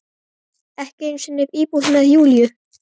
Ekki einu sinni íbúð með Júlíu.